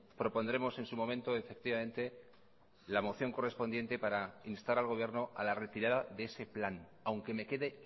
propondremos en su momento efectivamente la moción correspondiente para instar al gobierno a la retirada de ese plan aunque me quede